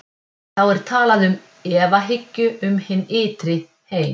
Þá er talað um efahyggju um hinn ytri heim.